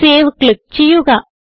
save click ചെയ്യുക